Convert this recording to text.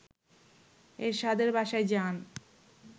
এরশাদের বাসায় যান